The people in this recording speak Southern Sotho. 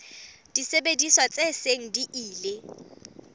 disebediswa tse seng di ile